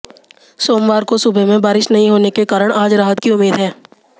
सोमवार को सुबह में बारिश नहीं होने के कारण आज राहत की उम्मीद है